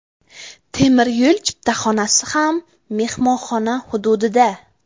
Temir yo‘l chiptaxonasi ham mehmonxona hududida.